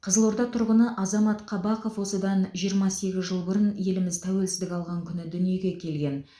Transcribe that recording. қызылорда тұрғыны азамат қабақов осыдан жиырма сегіз жыл бұрын еліміз тәуелсіздік алған күні дүниеге келген